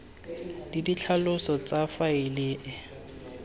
le ditlhaloso tsa faele e